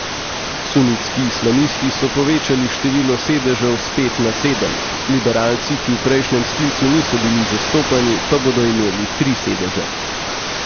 Sunitski islamisti so povečali število sedežev s pet na sedem, liberalci, ki v prejšnjem sklicu niso bili zastopani, pa bodo imeli tri sedeže.